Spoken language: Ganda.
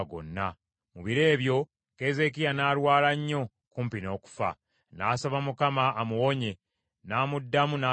Mu biro ebyo, Keezeekiya n’alwala nnyo kumpi n’okufa. N’asaba Mukama amuwonye, n’amuddamu n’akabonero.